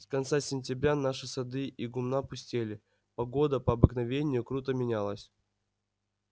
с конца сентября наши сады и гумна пустели погода по обыкновению круто менялась